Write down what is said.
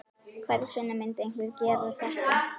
Hvers vegna myndi einhver gera þetta?